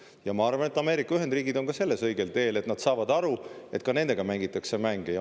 Ja ma arvan, et Ameerika Ühendriigid on ka selles õigel teel, et nad saavad aru, et ka nendega mängitakse mänge.